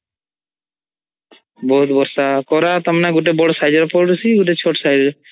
ବହୁତ୍ ବର୍ଷା କରା ତମେ ଗୋଟେ ବଡ଼ size ର ପୋଡୁଚି ଗୋଟେ ଚୋଟ୍size ର